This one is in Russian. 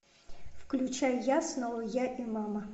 включай я снова я и мама